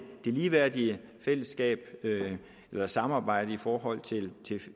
det ligeværdige samarbejde i forhold